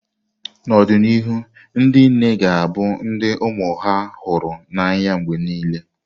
N’ọdịnihu, ndị nne ga-abụ ndị ụmụ ha hụrụ n’anya mgbe nile.